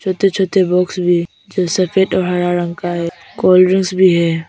छोटे छोटे बॉक्स भी हैं जो सफेद और हरा रंग का है। कोल्ड्रिंक्स भी है।